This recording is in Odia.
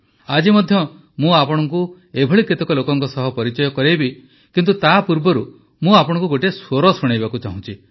ଆଜି ମଧ୍ୟ ମୁଁ ଆପଣଙ୍କୁ ଏପରି କେତେକ ଲୋକଙ୍କ ସହ ପରିଚୟ କରାଇବି କିନ୍ତୁ ତା ପୂର୍ବରୁ ମୁଁ ଆପଣଙ୍କୁ ଗୋଟିଏ ସ୍ୱର ଶୁଣାଇବାକୁ ଚାହୁଁଛି